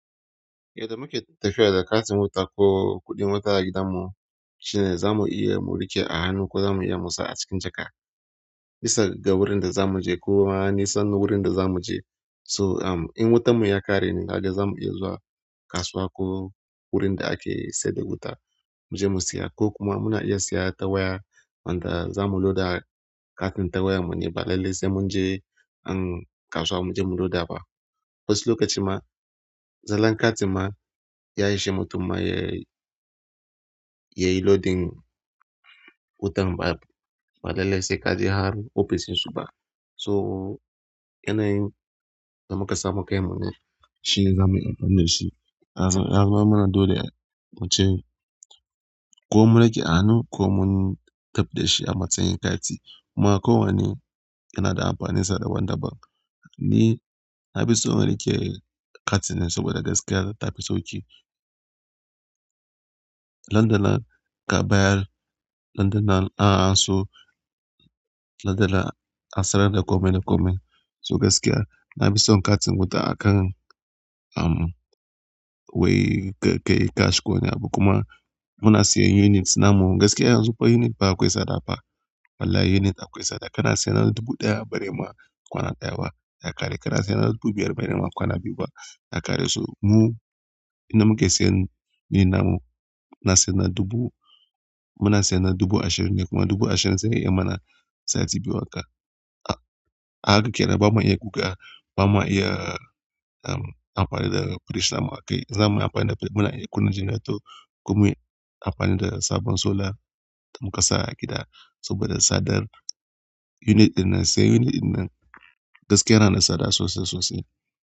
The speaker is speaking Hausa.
Yadda muke tafiya da katin wuta ko kuɗin wuta a gidanmu shine za mu iya mu riƙe a hannu ko za mu iya musa a cikin jaka. Bisa ga wurin da za mu je ko nisan wurin da za mu je. So, am in wutan mu ya ƙare ne, kaga zamu iya zuwa kasuwa ko wurin da ake sayar da wuta mu je mu siya. Ko kuma muna iya siya tawaya wanda za mu loda katin tawayar mu ne, ba lalle sai mun je an kasuwa mu je mu loda ba. Wasu lokaci ma zalan katin ma yayi shi mutum ma yayi, yayi loading wutan ba, balle sai kaje har ofis insu ba. So yanayin da muka samu kai mun ne shi zamuyi amfani da shi. Ya zammana dole ai muce ko mun riƙe a hannu ko mun taɓa da shi amma tuni katin. Kuma ko wane yana da amfaninsa da wanda ba. Ni na fi so in riƙe katin ne saboda gaskiya ta tafi sauƙi. Nan da nan ka bayar, nan da nan an aso nan da nan a sanar da komai da komai. So gaskiya na fi son katin wuta akan, um, wai kai cash ko wani abu. Kuma muna siyan unit namu. Gaskiya yanzu ko unit ba akwai tsada fa. Wallahi unit akwai tsada. Kana siyan na dubu ɗaya bare ma kwana ɗaya ba ya ƙare. Kana siyan na dubu biyar bare ma kwana biyu ba ya ƙare. To mu in da muke siyan ni namu na siyan na dubu, muna siyan na dubu ashirin ne kuma dubu ashirin zai iya mana sati biyu haka. A haka kenan ba ma iya guga ba ma iya, um, amfani da fridge namu akai. Zamuyi amfani da fridge muna iya kunna generator ko muyi amfani da sabon solar da muka sa gida. Saboda tsadar unit in nan siyan unit in nan gaskiya yana da tsada sosai sosai.